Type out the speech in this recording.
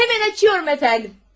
Həmən açıyorum, əfəndim.